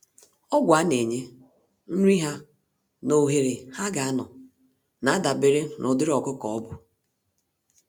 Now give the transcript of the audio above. Ọgwụ a-nenye, nri ha nà ohere ha ga anọ, nadabere n'ụdịrị ọkụkọ ọbụ.